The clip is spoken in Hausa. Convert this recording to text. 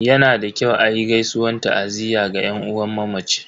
Yana da kyau a yi gaisuwan ta'aziyya ga yan uwan mamaci.